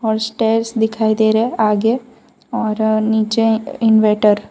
और स्टेयर्स दिखाई दे रहा है आगे और नीचे इनवर्टर ।